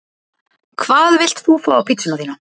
Hvað vilt þú fá á pizzuna þína?